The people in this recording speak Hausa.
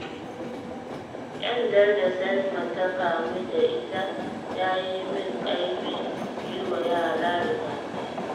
Ƙyandar da Salma ta kamu da ita ta yi min ƙaimin yi wa yara rigakafi